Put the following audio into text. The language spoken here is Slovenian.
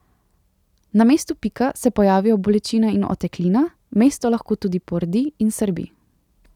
Na mestu pika se pojavijo bolečina in oteklina, mesto lahko tudi pordi in srbi.